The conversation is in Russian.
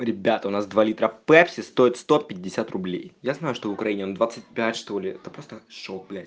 ребят у нас два литра пепси стоят сто пятьдесят рублей я знаю что в украине он двадцать пять что ли это просто шок блять